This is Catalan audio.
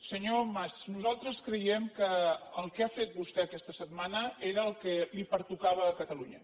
senyor mas nosaltres creiem que el que ha fet vostè aquesta setmana era el que li pertocava a catalunya